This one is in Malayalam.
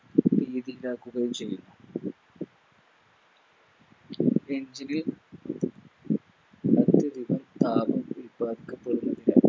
ണ്ടാക്കുകയും ചെയ്യുന്നു engine